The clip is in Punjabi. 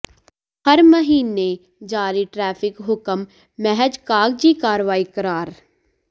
ਹਰ ਮਹੀਨੇ ਜਾਰੀ ਟਰੈਫ਼ਿਕ ਹੁਕਮ ਮਹਿਜ ਕਾਗਜ਼ੀ ਕਾਰਵਾਈ ਕਰਾਰ